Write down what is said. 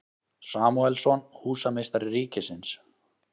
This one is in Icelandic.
Samúelsson, húsameistari ríkisins.